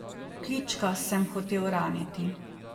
Klička sem hotel raniti.